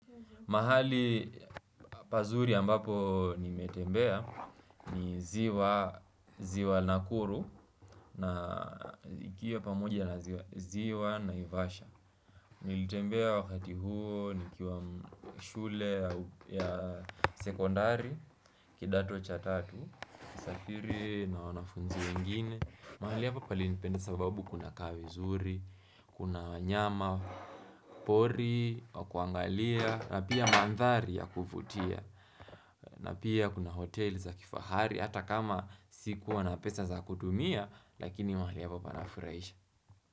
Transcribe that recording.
Mahali pazuri ambapo nimetembea ni ziwa nakuru na ikiwa pamoja na ziwa naivasha. Nilitembea wakati huo nikiwa shule ya sekondari kidato cha tatu. Safiri na wanafunzi wengine. Mahali hapa palinipendeza sababu kunakaa vizuri, kuna wanyama pori, wa kuangalia. Napia mandhari ya kuvutia na pia kuna hotel za kifahari hata kama sikuwa na pesa za kudumia Lakini mahali hapa panafurahisha.